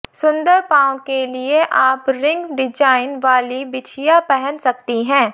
सुंदर पांव के लिए आप रिंग डिजाइन वाली बिछिया पहन सकती हैं